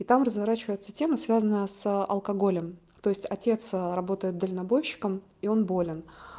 и там разворачивается тема связанная с алкоголем то есть отец работает дальнобойщиком и он болен